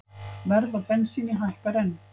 Verð á bensíni hækkar enn